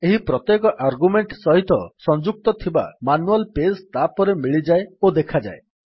ଏହି ପ୍ରତ୍ୟେକ ଆର୍ଗ୍ୟୁମେଣ୍ଟ୍ ସହିତ ସଂଯୁକ୍ତ ଥିବା ମାନୁଆଲ୍ ପେଜ୍ ତାପରେ ମିଳିଯାଏ ଓ ଦେଖାଯାଏ